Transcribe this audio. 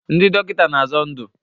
Ndị dọkịta na-azọ ndụ